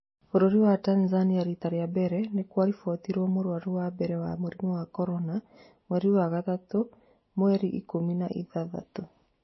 Bũrũri wa Tanzania rita rĩa mbere nĩkwaribotirwo mũrwaru wa mbere wa mũrimũ wa Korona mweri wa gatatũ mweri ikũmi na ithathatũ